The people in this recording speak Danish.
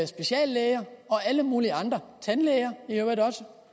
speciallæger og alle mulige andre tandlæger i øvrigt også for